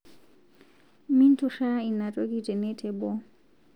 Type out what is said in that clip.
Minturaa inia toki tene teboo